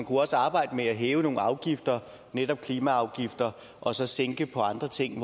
også arbejde med at hæve nogle afgifter netop klimaafgifter og så sænke andre ting